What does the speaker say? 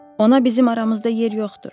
Ona bizim aramızda yer yoxdur.